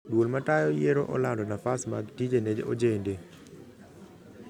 Duol matayo yier olando nafas mag tije ne ojende